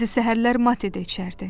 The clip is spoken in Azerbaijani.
Bəzi səhərlər mate də içərdi.